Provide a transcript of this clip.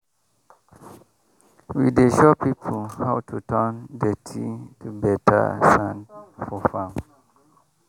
we dey show people how to turn dirty to better sand for farm.